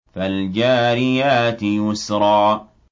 فَالْجَارِيَاتِ يُسْرًا